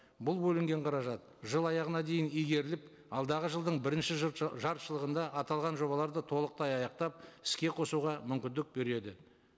бұл бөлінген қаражат жыл аяғына дейін игеріліп алдағы жылдың бірінші жартыжылдығында аталған жобаларды толықтай аяқтап іске қосуға мүмкіндік береді